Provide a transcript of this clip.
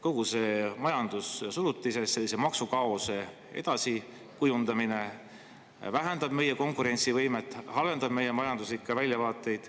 Kogu see majandussurutis, sellise maksukaose edasi kujundamine vähendab meie konkurentsivõimet, halvendab meie majanduslikke väljavaateid.